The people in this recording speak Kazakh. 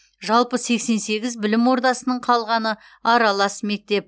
жалпы сексен сегіз білім ордасының қалғаны аралас мектеп